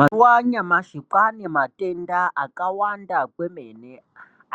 Mazuwa anyamashi kwaane matenda akawanda kwemene